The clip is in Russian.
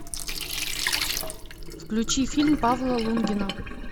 включи фильм павла лунгина